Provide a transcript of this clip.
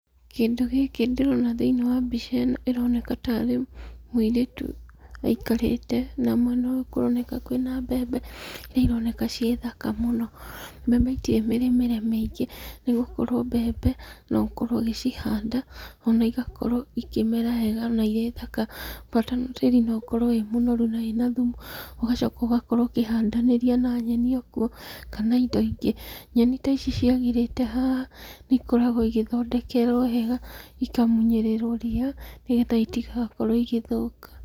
Kĩndũ gĩkĩ ndĩrona thĩiniĩ wa mbica ĩno, ĩroneka tarĩ mũirĩtu aikarĩte, na mwena ũyũ kũroneka kwĩ na mbembe iria ironeka ciĩthaka mũno. Mbembe itirĩ mĩrĩmĩre mĩingĩ, nĩgũkorwo mbembe, nogũkorwo ũgĩcihanda, na igakorwo ikĩmera wega na irĩthaka, bata tĩri no ũgakorwo wĩ mũnoru na wĩna thumu, ũgacoka ũgakorwo ũkĩhandanĩria na nyeni okuo, kana indo ingĩ. Nyeni ta ici ciagĩrĩte haha, nĩikoragwo igĩthondekerwo wega, ikamunyĩrĩrwo ria, nĩgetha itigakorwo igĩthũka.